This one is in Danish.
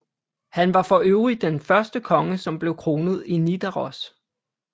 Han var for øvrig den første konge som blev kronet i Nidaros